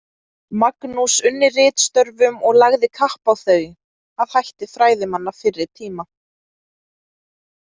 Magnús unni ritstörfum og lagði kapp á þau, að hætti fræðimanna fyrri tíma.